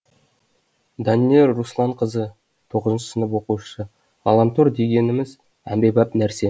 данэль русланқызы тоғызыншы сынып оқушысы ғаламтор дегеніміз әмбебап нәрсе